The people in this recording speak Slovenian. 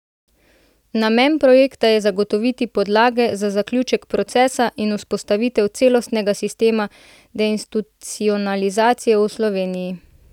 Namen projekta je zagotoviti podlage za zaključek procesa in vzpostavitev celostnega sistema deinstitucionalizacije v Sloveniji.